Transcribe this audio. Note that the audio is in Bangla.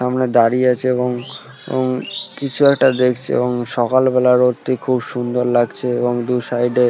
সামনে দাঁড়িয়ে আছে এবং এবং কিছু একটা দেখছে এবং সকালবেলার রোদটা খুব সুন্দর লাগছে এবং দু সাইড -এ ।